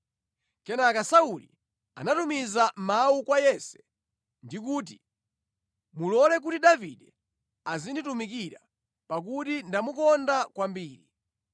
Kenaka Sauli anatumiza mawu kwa Yese ndi kuti, “Mulole kuti Davide azinditumikira, pakuti ndamukonda kwambiri.”